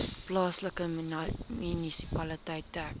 plaaslike munisipaliteit dek